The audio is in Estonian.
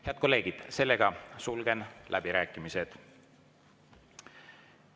Head kolleegid, sulgen läbirääkimised.